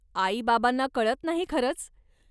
आई बाबांना कळत नाही खरंच.